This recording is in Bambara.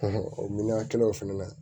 o miliyɔn kelen na